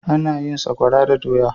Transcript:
Ana yin tsakwara da doya.